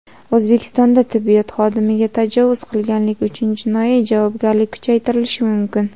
O‘zbekistonda tibbiyot xodimiga tajovuz qilganlik uchun jinoiy javobgarlik kuchaytirilishi mumkin.